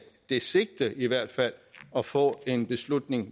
det sigte i hvert fald at få en beslutning